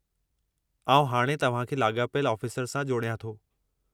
आउं हाणे तव्हां खे लाॻापियल आफ़ीसर सां जोड़ियां थो।